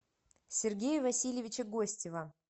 сергея васильевича гостева